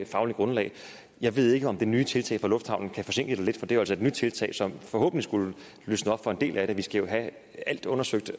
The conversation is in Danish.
fagligt grundlag jeg ved ikke om det nye tiltag fra lufthavnen kan forsinke det lidt for det er jo altså et nyt tiltag som forhåbentlig skulle løsne op for en del af det vi skal jo have alt undersøgt